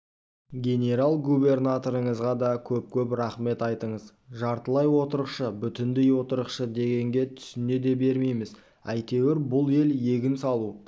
генерал-губернаторыңызға да көп-көп рахмет айтыңыз жартылай отырықшы бүтіндей отырықшы дегенге түсіне де бермейміз әйтеуір бұл ел егін салу